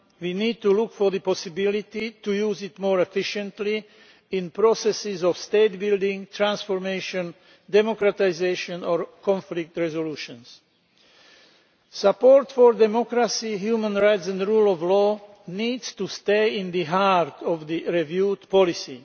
We need to look at the possibility of using it more efficiently in processes of state building, transformation, democratisation or conflict resolution. Support for democracy, human rights and the rule of law needs to stay at the heart of the reviewed policy.